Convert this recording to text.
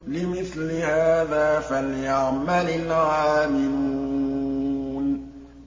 لِمِثْلِ هَٰذَا فَلْيَعْمَلِ الْعَامِلُونَ